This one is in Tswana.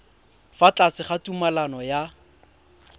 fa tlase ga tumalano ya